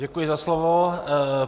Děkuji za slovo.